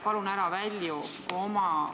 Palun ära välju oma ...